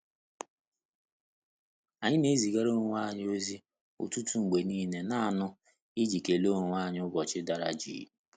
Anyị na ezịgara onwe anyi ozi ụtụtụ mgbe niile naanụ i ji kele onwe anyị ụbọchị dara jịị.